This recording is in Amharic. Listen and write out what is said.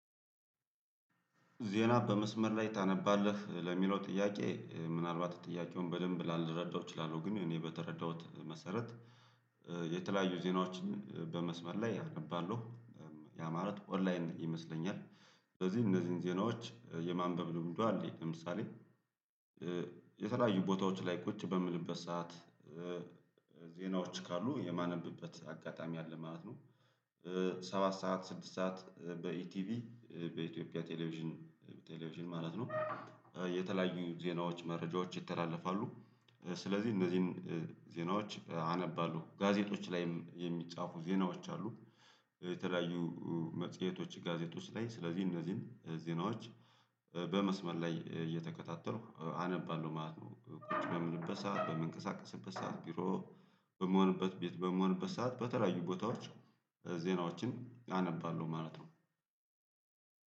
ዜና በመስመር ላይ ታነባለህ ለሚለው ጥያቄ ምናልባት ጥያቄውን በደንብ ላልረዳው እችላለሁ ግን እኔ በተረዳሁት መሰረት። የተለያዩ ዜናዎችን በመስመር ላይ አነባለሁ። ያ ማለት ኦንላይን ይመስለኛል ስለዚህ እነዚህን ዜናዎች የማንበብ ልምዱ አለኝ። ለምሳሌ የተለያዩ ቦታዎች ላይ ቁጭ በምልበት ሰዓት ዜናዎች ካሉ የማነብበት አጋጣሚ አለ ማለት ነው። ሰባት ሰዓት ስድስት ሰዓት በኢቲቪ በኢትዮጵያ ቴሌቪዥን በቴሌቪዥን ማለት ነው። የተለያዩ ዜናዎች መረጃዎች ይተላለፋሉ። ስለዚህ እነዚህን ዜናዎች አነባሉ ጋዜጦች ላይም የሚጻፉ ዜናዎች አሉ። የተለያዩ መጽሄቶች ጋዜጦች ውስጥ ላይ ስለዚህ እነዚህን ዜናዎች በመስመር ላይ እየተከታተልኩ አነባለሁ ማለት ነው። ቁጭ በምንበት ሰዓት በመንቀሳቀስበት ሰዓት ቢሮ በምሆንበት ቤት በምሆንበት ሰዓት በተለያዩ ቦታዎች ዜናዎችን አነባለሁ ማለት ነው።